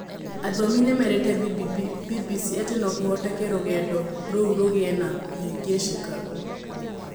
Athomi nĩ merĩte BBC atĩ no kũhoteke rũgendo rũu rũgĩe na kũhĩngĩcĩka.